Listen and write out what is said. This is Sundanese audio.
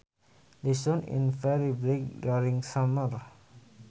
The sun is very bright during summer